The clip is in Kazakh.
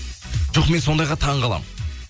жоқ мен сондайға таңқаламын